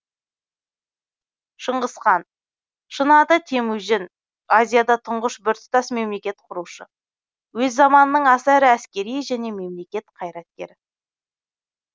шыңғыс хан шын аты темүжін азияда тұңғыш біртұтас мемлекет құрушы өз заманының аса ірі әскери және мемлекет қайраткері